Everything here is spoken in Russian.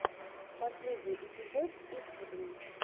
последний эпизод итвдн